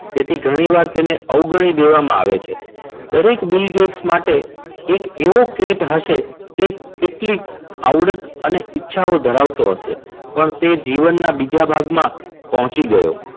તેથી ઘણી વાર એને અવગણી દેવામાં આવે છે. દરેક બીલ ગેટ્સ માટે એક એવો કેટ હશે કે કેટલીક આવડે તને ઈચ્છાઓ ધરાવતો હશે. પણ તે જીવનના બીજા ભાગમાં પહોંચી ગયો.